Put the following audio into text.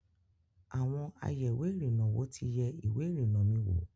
Àwọn ayèwé-ìrìnà -wò ti yẹ ìwé ìrìnnà mi wo.